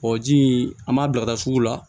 Ɔ ji in an b'a bila ka taa sugu la